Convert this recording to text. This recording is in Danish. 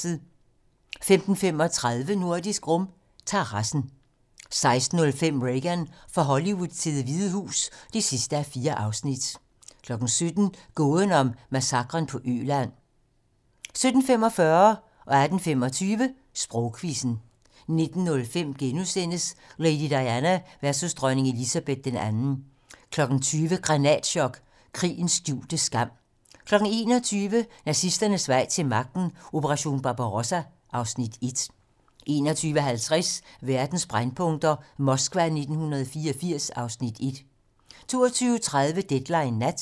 15:35: Nordisk Rum - terrassen 16:05: Reagan - fra Hollywood til Det Hvide Hus (4:4) 17:00: Gåden om massakren på Øland 17:45: Sprogquizzen 18:25: Sprogquizzen 19:05: Lady Diana versus dronning Elizabeth II * 20:00: Granatchok: Krigens skjulte skam 21:00: Nazisternes vej til magten: Operation Barbarossa (Afs. 1) 21:50: Verdens brændpunkter: Moskva 1984 (Afs. 1) 22:30: Deadline nat